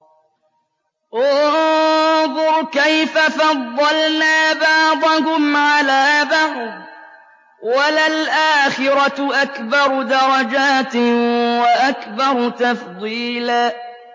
انظُرْ كَيْفَ فَضَّلْنَا بَعْضَهُمْ عَلَىٰ بَعْضٍ ۚ وَلَلْآخِرَةُ أَكْبَرُ دَرَجَاتٍ وَأَكْبَرُ تَفْضِيلًا